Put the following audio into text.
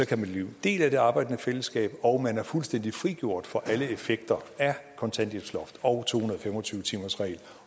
kan blive en del af det arbejdende fællesskab og man er fuldstændig frigjort fra alle effekter af kontanthjælpsloftet og to hundrede og fem og tyve timersreglen